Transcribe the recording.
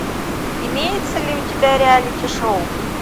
имеется ли у тебя реалити шоу